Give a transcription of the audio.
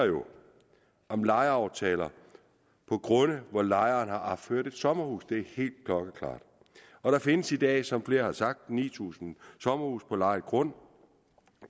om lejeaftaler på grunde hvor lejeren har opført et sommerhus det er helt klokkeklart og der findes i dag som flere har sagt ni tusind sommerhuse på lejet grund